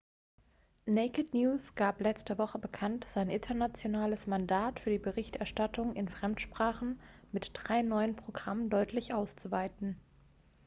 naked news gab letzte woche bekannt sein internationales mandat für die berichterstattung in fremdsprachen mit drei neuen programmen deutlich auszuweiten